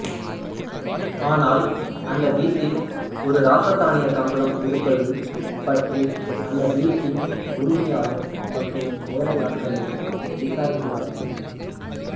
ஆனால் அந்த வீட்டில் ஒரு இராசத்தானியக் கம்பளம் இருப்பது பற்றி அந்த வீட்டின் உரிமையாளர் மற்றும் வேலையாட்களிடம் விசாரிக்கிறார்